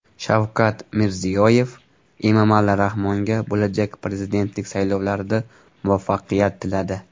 Shavkat Mirziyoyev Emomali Rahmonga bo‘lajak prezidentlik saylovlarida muvaffaqiyat tiladi.